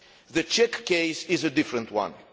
The Czech case is a different one.